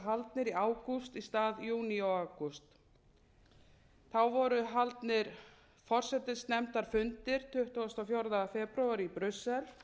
haldnir í ágúst í stað júní og ágúst þá voru haldnir forsætisnefndarfundir tuttugasta og fjórða febrúar í brussel